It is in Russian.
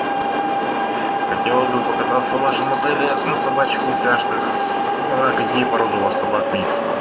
хотелось бы покататься в вашем отеле на собачьих упряжках а какие породы у вас собак нр